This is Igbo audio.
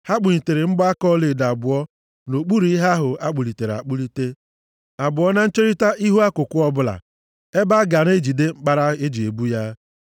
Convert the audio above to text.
Ha kpụnyere mgbaaka ọlaedo abụọ nʼokpuru ihe ahụ akpụlitere akpụlite, abụọ na ncherita ihu akụkụ ọ bụla, ebe a ga na-ejide mkpara e ji ebu ya.